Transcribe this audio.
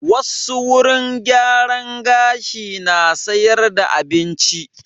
Wassu wurin gyaran gashi na sayar da abinci